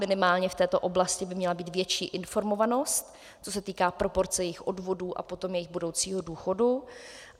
Minimálně v této oblasti by měla být větší informovanost, co se týká proporce jejich odvodů a potom jejich budoucího důchodu.